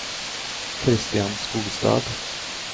Christian Skogstad